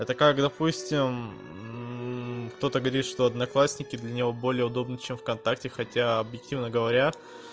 это как допустим кто-то говорит что одноклассники для него более удобно чем вконтакте хотя объективно говоря